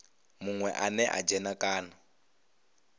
munwe ane a dzhena kana